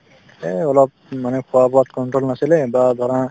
এই অলপ উম মানে খোৱা-বোৱাত control নাছিলে বা ধৰা